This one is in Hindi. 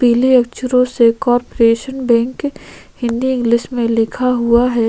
पीले अक्षरों से कोपरेशन बैंक हिंदी इंग्लिश में लिखा हुआ है।